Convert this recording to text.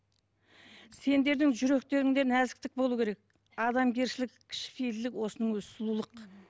сендердің жүректеріңде нәзіктік болу керек адамгершілік кішіпейілділік осының өзі сұлулық